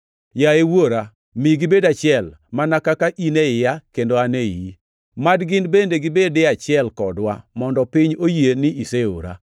Yaye Wuora, mi gibed achiel, mana kaka in e iya kendo an e iyi. Mad gin bende gibed e achiel kodwa, mondo piny oyie ni iseora.